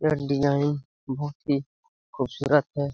यह डिजाइन बहुत ही खूबसूरत है।